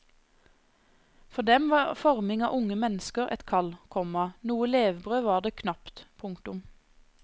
For dem var forming av unge mennesker et kall, komma noe levebrød var det knapt. punktum